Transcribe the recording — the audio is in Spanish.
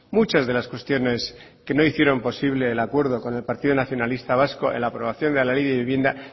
muchas de las cuestiones que no hicieron posible el acuerdo con el partido nacionalista vasco en la aprobación de la ley de vivienda